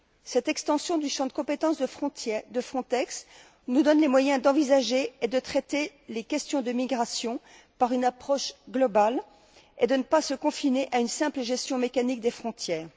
Cette extension du champ des compétences de Frontex nous donne les moyens d'envisager et de traiter les questions de migration par une approche globale, sans se confiner à une simple gestion mécanique des frontières.